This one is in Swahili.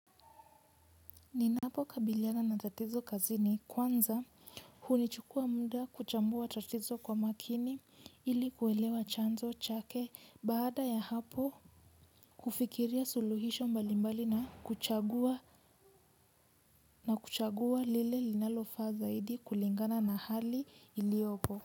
Ninapo kabiliana na tatizo kazini kwanza hunichukua muda kuchambua tatizo kwa makini ili kuelewa chanzo chake baada ya hapo kufikiria suluhisho mbalimbali na kuchagua na kuchagua lile linalofaa zaidi kulingana na hali iliopo.